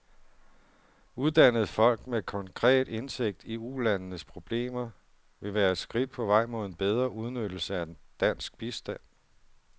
Uddannede folk med konkret indsigt i ulandenes problemer vil være et skridt på vej mod en bedre udnyttelse af dansk bistand.